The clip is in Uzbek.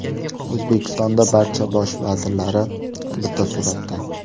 O‘zbekistonning barcha bosh vazirlari bitta suratda.